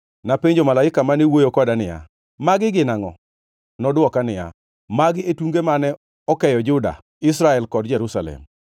Napenjo malaika mane wuoyo koda niya, “Magi gin angʼo?” Nodwoka niya, “Magi e tunge mane okeyo Juda, Israel kod Jerusalem.”